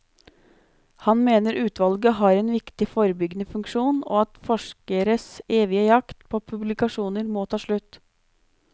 Han mener utvalget har en viktig forebyggende funksjon, og at forskeres evige jakt på publikasjoner må ta slutt.